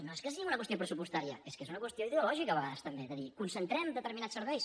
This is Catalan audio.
no és que sigui una qüestió pressupostària és que és una qüestió ideològica a vegades també de dir concentrem determinats serveis